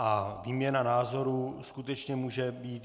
A výměna názorů skutečně může být.